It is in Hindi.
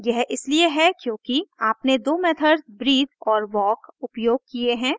यह इसलिए है क्योंकि आपने दो मेथड्स breathe और walk उपयोग किये हैं